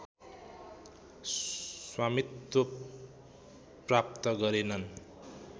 स्वामित्व प्राप्त गरेनन्